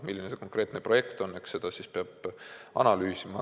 Milline see konkreetne projekt on, seda peab analüüsima.